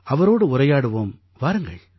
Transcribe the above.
அவரோடு உரையாடுவோம் வாருங்கள்